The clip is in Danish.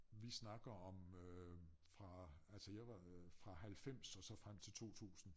Vi snakker om øh fra altså jeg var fra 90 og så frem til 2 tusinde